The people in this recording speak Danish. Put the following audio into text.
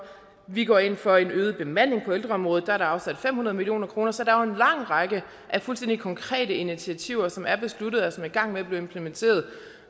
vi går ind for en øget bemanding på ældreområdet der er der afsat fem hundrede million kroner så er jo en lang række af fuldstændig konkrete initiativer som er besluttet og som er i gang med at blive implementeret